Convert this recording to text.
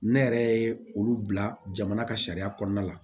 Ne yɛrɛ ye olu bila jamana ka sariya kɔnɔna la